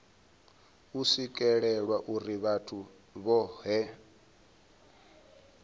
u swikelelwa uri vhathu vhohe